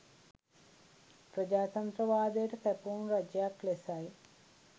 ප්‍රජාතන්ත්‍රවාදයට කැපවුණු රජයක් ලෙසයි.